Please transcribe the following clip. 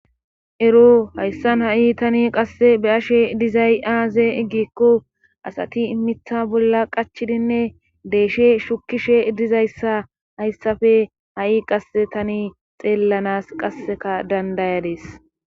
Ero hayssan ha'i tani qasse be ashe dizay aaze iggikko asati immitha bolla qachidinne deeshshe shukishe dizayssa hayssafe ha7i qasse tani xeellanas qasseka dandayades.